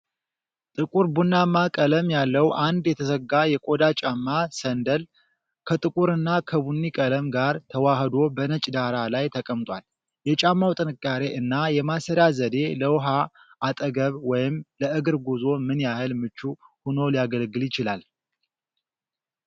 ጥቁር ቡናማ ቀለም ያለው አንድ የተዘጋ የቆዳ ጫማ (ሰንደል)፣ ከጥቁርና ከቡኒ ቀለም ጋር ተዋህዶ በነጭ ዳራ ላይ ተቀምጧል፤ የጫማው ጥንካሬ እና የማሰሪያ ዘዴ ለውሃ አጠገብ ወይም ለእግር ጉዞ ምን ያህል ምቹ ሆኖ ሊያገለግል ይችላል?